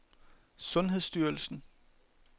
sundhedsstyrelsen